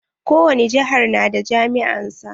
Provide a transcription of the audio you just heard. Ko wani jihar na da jami'a na sa.